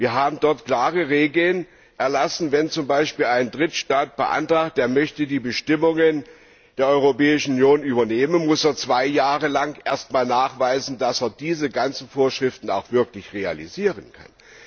Wir haben dort klare Regeln erlassen Wenn zum Beispiel ein Drittstaat beantragt, die Bestimmungen der Europäischen Union zu übernehmen, muss er zwei Jahre lang erst einmal nachweisen, dass er alle diese Vorschriften auch wirklich realisieren kann.